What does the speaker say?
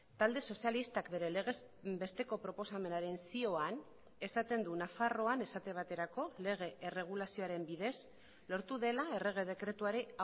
talde sozialistak bere legez besteko proposamenaren zioan esaten du nafarroan esate baterako lege erregulazioaren bidez lortu dela errege dekretuari